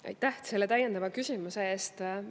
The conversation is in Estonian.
Aitäh selle täiendava küsimuse eest!